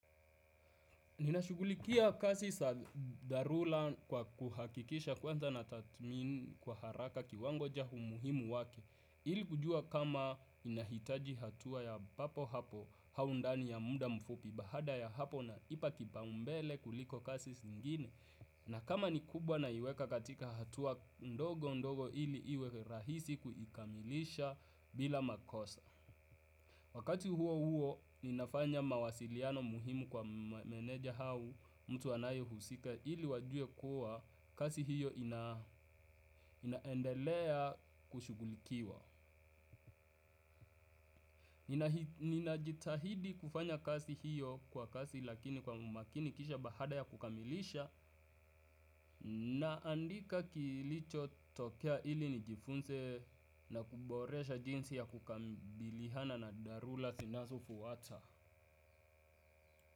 Ninashughulikia kazi za dharura kwa kuhakikisha kwanza na tathmini kwa haraka kiwango cha umuhimu wake. Ili kujua kama inahitaji hatua ya papo hapo au ndani ya muda mfupi baada ya hapo ina ipa kipa umbele kuliko kazi zingine. Na kama ni kubwa naiweka katika hatua ndogo ndogo ili iwe rahisi kuikamilisha bila makosa. Wakati huo huo, ninafanya mawasiliano muhimu kwa meneja au mtu anayo husika ili wajue kuwa kazi hiyo inaendelea kushughulikiwa. Ninajitahidi kufanya kazi hiyo kwa kasi lakini kwa umakini kisha baada ya kukamilisha naandika kilicho tokea ili nijifunze na kuboresha jinsi ya kukabiliana na dharura zinazofuata.